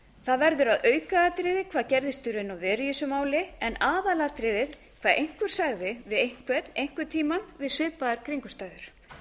það verður að aukaatriði hvað gerðist í raun og veru í þessu máli eða aðalatriðið hvað einhver sagði við einhvern einhvern tíma við svipaðar kringumstæður